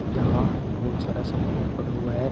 यहाँ बहुत सारा सामान पड़ा हुआ है।